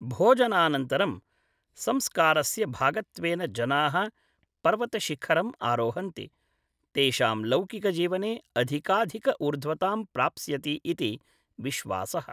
भोजनानन्तरं, संस्कारस्य भागत्वेन जनाः पर्वतशिखरम् आरोहन्ति; तेषां लौकिकजीवने अधिकाधिक ऊर्ध्वतां प्राप्स्यति इति विश्वासः।